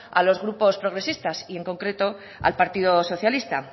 a los grupos progresistas y en concreto al partido socialista